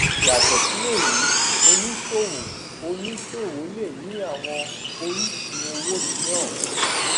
yàtọ sí èyí oníṣòwò oníṣòwò lé nì àwọn orísun owó mìíràn